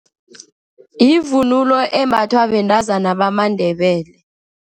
Yivunulo embathwa bentazana bamaNdebele.